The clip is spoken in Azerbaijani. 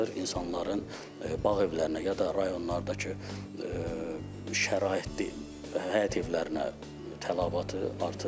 İnsanların bağ evlərinə ya da rayonlardakı şəraitdir, həyət evlərinə tələbatı artır.